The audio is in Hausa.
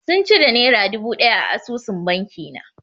Sun cire nera dubu ɗaya a asusun banki na.